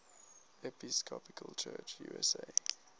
episcopal church usa